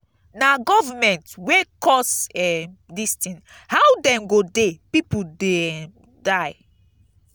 na government wey cause um dis thing how dem go dey people dey um die.